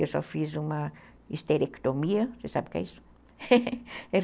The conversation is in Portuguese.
Eu só fiz uma histerectomia, você sabe o que é isso?